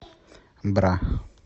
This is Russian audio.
бра